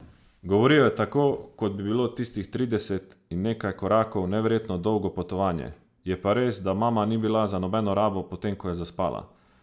Govoril je tako, kot bi bilo tistih trideset in nekaj korakov neverjetno dolgo potovanje, je pa res, da mama ni bila za nobeno rabo, potem ko je zaspala.